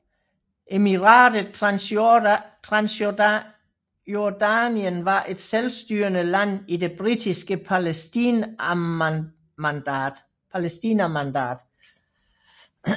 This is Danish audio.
Emiratet Transjordanien var et selvstyrende land i det britiske Palæstinamandat